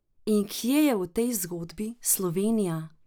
In kje je v tej zgodbi Slovenija?